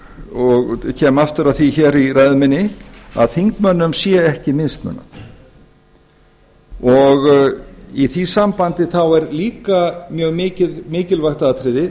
og kem aftur að því hér í ræðu minni að þingmönnum sé ekki mismunað í því sambandi er líka mjög mikilvægt atriði